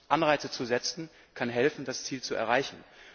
Anreize zu setzen kann helfen, dieses Ziel zu erreichen.